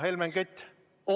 Hea Helmen Kütt!